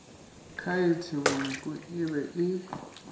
khaete bonoko e be e